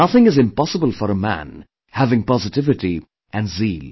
Nothing is impossible for a man having positivity and zeal